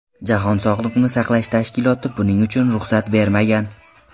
Jahon sog‘liqni saqlash tashkiloti buning uchun ruxsat bergan.